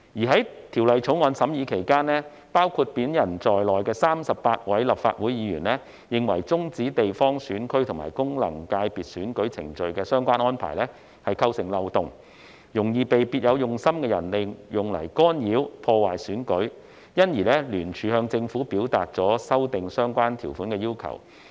在《條例草案》審議期間，包括我在內的38位立法會議員認為，終止地方選區及功能界別選舉程序的相關安排構成漏洞，容易被別有用心的人利用來干擾、破壞選舉，因而聯署向政府表達了修正相關條文的要求。